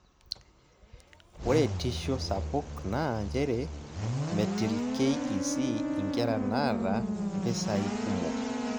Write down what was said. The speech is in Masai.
Ore tisho sapuk naa nchere metil KEC inkera naata mpisai kumok.